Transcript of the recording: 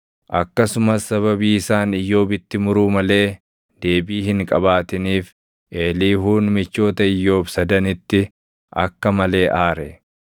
Akkasumas sababii isaan Iyyoobitti muruu malee deebii hin qabaatiniif Eeliihuun michoota Iyyoob sadanitti akka malee aare.